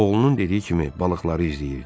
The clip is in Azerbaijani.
Oğlunun dediyi kimi balıqları izləyirdi.